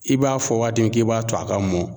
I b'a fɔ waati min k'i b'a to a ka mɔn